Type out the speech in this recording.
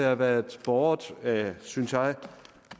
har været båret af synes jeg